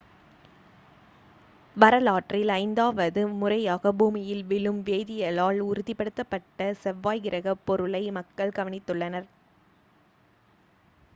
வரலாற்றில் ஐந்தாவது முறையாக பூமியில் விழும் வேதியியலால் உறுதிப்படுத்தப்பட்ட செவ்வாய் கிரகப் பொருளை மக்கள் கவனித்துள்ளனர்